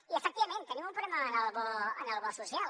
i efectivament tenim un problema amb el bo social